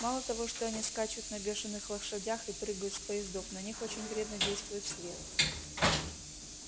мало того что они скачут на бешеных лошадях и прыгают с поездов на них очень вредно действует свет